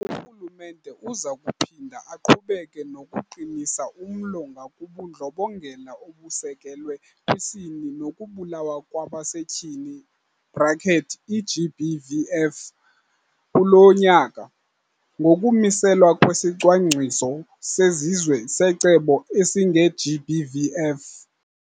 Urhulumente uza kuphinda aqhubeke nokuqinisa umlo ngakubuNdlobongela obusekelwe kwiSini nokuBulawa kwabaseTyini, i-GBVF, kulo nyaka, ngokumiselwa kwesiCwangciso seziZwe seCebo esingeGBVF.